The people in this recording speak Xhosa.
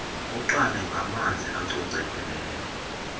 uqale ngamanzi acocekileyo